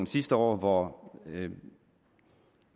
sidste år da